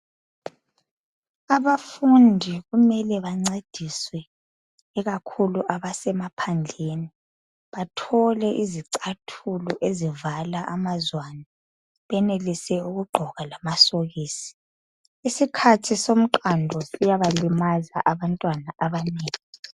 Abafundi kumele bancediswe ikakhulu abasemaphandleni bathole izicathulo ezivala amazwane, benelise ukugqoka amasokisi. Isikhathi somqando siyabalimaza abantwana abanengi.